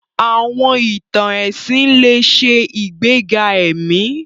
Àwọn ìtàn ẹ̀sìn lè ṣe ìgbéga ẹ̀mí.